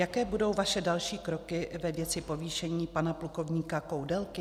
Jaké budou vaše další kroky ve věci povýšení pana plukovníka Koudelky?